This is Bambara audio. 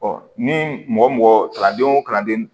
ni mɔgɔ mɔgɔ kalannenw kalanden